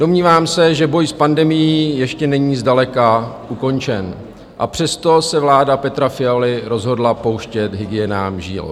Domnívám se, že boj s pandemií ještě není zdaleka ukončen, a přesto se vláda Petra Fialy rozhodla pouštět hygienám žilou.